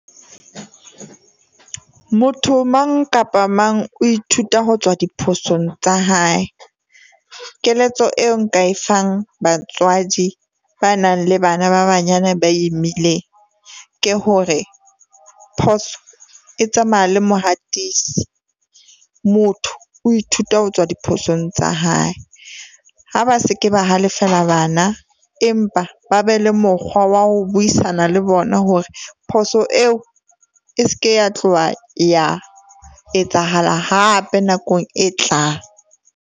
Motho mang kapa mang o ithuta ho tswa diphosong tsa hae. Keletso eo nka e fang batswadi ba nang le bana ba banyane ba imileng. Ke hore phoso e tsamaya le mohatisi, motho o ithuta ho tswa diphosong tsa hae. Ha ba se ke ba halefela bana, empa ba be le mokgwa wa ho buisana le bona hore phoso eo e se ke ya tloha ya etsahala hape nakong e tlang.